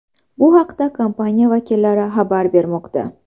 Bu haqda kompaniya vakillari xabar bermoqda .